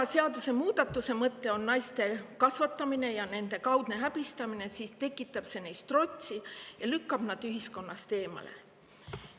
Kui seadusemuudatuse mõte on naiste kasvatamine ja nende kaudne häbistamine, siis tekitab see neis trotsi ja lükkab nad ühiskonnast eemale.